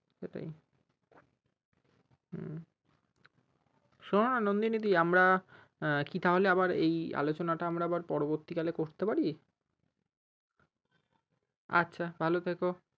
সেটাই হম শোনো না নন্দিনী দি আমারা কি তাহলে আবার এই আলোচনাটা আবার পরবর্তী কালে করতে পারি? আচ্ছা ভাল থেকো।